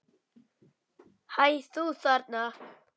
Hæ, þú þarna!